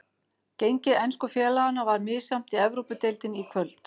Gengi ensku félaganna var misjafnt í Evrópudeildinni í kvöld.